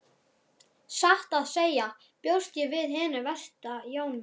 Satt að segja bjóst ég við hinu versta Jón minn.